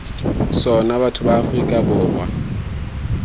sona batho ba aforika borwa